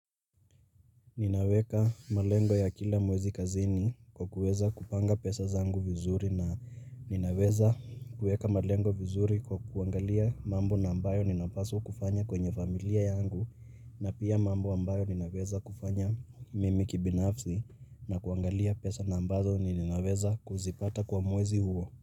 Ninaweka malengo ya kila mwezi kazini kwa kuweza kupanga pesa zangu vizuri na ninaweza kuweka malengo vizuri kwa kuangalia mambo na ambayo ninapaswa kufanya kwenye familia yangu na pia mambo ambayo ninaweza kufanya mimi kibinafsi na kuangalia pesa na ambazo ni ninaweza kuzipata kwa mwezi huo.